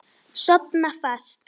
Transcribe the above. Sofna fast.